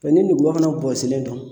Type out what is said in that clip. Mɛ ni nugulɔ fɛnɛ bɔsilen don